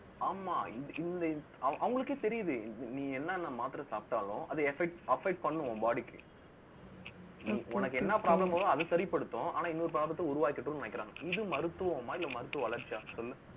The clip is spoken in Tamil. ஆமாம் இந்த இந்த அவங்களுக்கே தெரியுது. நீ என்னென்ன மாத்திரை சாப்பிட்டாலும், அதை affect பண்ணணும், உன் body க்கு உனக்கு என்ன problem வருதோ அது சரிப்படுத்தும். ஆனா இன்னொரு problem த்தை உருவாக்கிடும்ன்னு நினைக்கிறாங்க. இது மருத்துவமா இல்லை மருத்துவ வளர்ச்சிய சொல்லுங்க